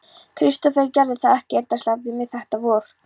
Kristófer gerði það ekki endasleppt við mig þetta vor.